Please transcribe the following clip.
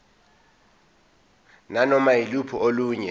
nanoma yiluphi olunye